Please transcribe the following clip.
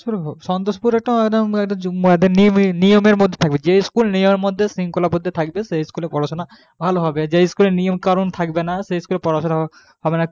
সন্তোষপুর একটা একদম নিমীর নিয়মের মধ্যে থাকবে যে school নিয়মের মধ্যে শৃঙ্খলাবদ্ধ থাকবে সেই school এ পড়াশোনা ভালো হবে আর যে school এ নিয়ম কানুন থাকবে না সেই school এ পড়াশোনা হবে না